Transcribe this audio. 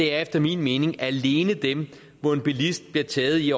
er efter min mening alene dem hvor en bilist bliver taget i